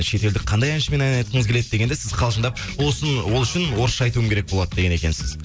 шетелдік қандай әншімен ән айтқыңыз келеді дегенде сіз қалжыңдап ол үшін орысша айтуым керек болады деген екенсіз